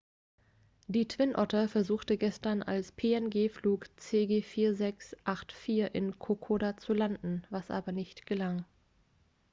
die twin otter versuchte gestern als png-flug cg4684 in kokoda zu landen was aber nicht gelang